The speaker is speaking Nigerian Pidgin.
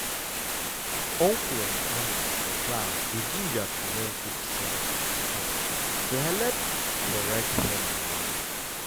uncle and auntie for class dey gingered to run good sense talk-talk to helep um head and mind.